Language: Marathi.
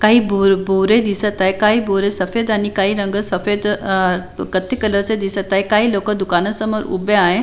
काही बोर बोरे दिसत आहे काही बोर सफेद आणि काही रंग सफेद अह कत्ति कलर चे दिसत आहे काही लोक दुकानासमोर उभे आहे.